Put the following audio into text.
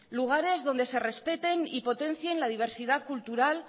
lugares donde se respeten y potencien la diversidad cultural